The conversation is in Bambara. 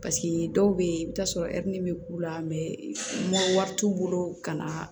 Paseke dɔw bɛ ye i bɛ t'a sɔrɔ bɛ k'u la wari t'u bolo ka na